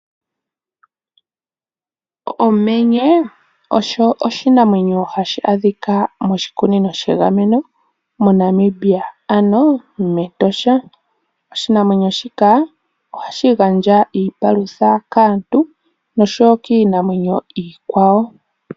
Omenye osho oshinamwenyo hashi adhika moshikunino shegameno moNamibia ano mEtosha. Oshinamwenyo shika ohashi gandja iipalutha kaantu nosho wo kiinamwenyo iikwawo.